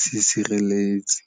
sesireletsi.